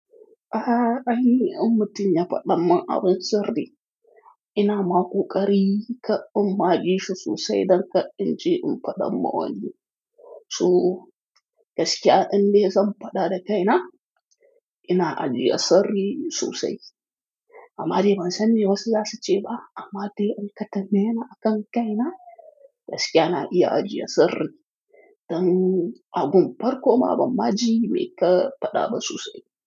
A'a, aini in mutun ya faɗamin abin sirri. Ina ma ko ƙari ka in ma ji shi sosai don kar inje in faɗa ma wani. So gaskiya inda zan faɗa da kai na, ina ajiye sirri sosai. Amma dai ban sani wasu za su ce ba, amma dai in ka tambaye ni akan kai na, gaskiya na iya ajiye sirri. Don abun farko ma ban ma ji me ka faɗa ba sosai.